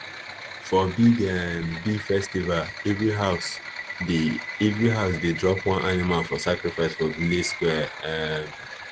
for big um big festival every house dey every house dey drop one animal for sacrifice for village square um